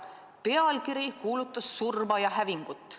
Pealkiri kuulutas surma ja hävingut.